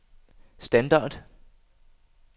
standard